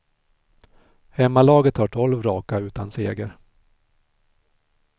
Hemmalaget har tolv raka utan seger.